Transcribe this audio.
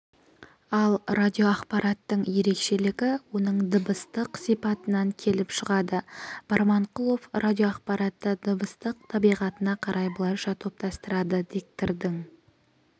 ал радиоақпараттың ерекшелігі оның дыбыстық сипатынан келіп шығады барманқұлов радиоақпаратты дыбыстық табиғатына қарай былайша топтастырады диктордың